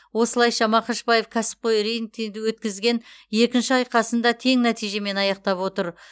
осылайша мақашбаев кәсіпқой рингте өткізген екінші айқасын да тең нәтижемен аяқтап отыр